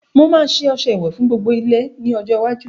Mo ma ṣe ọṣẹ ìwẹ̀ fún gbogbo ilé ní ọjọ́ iwájú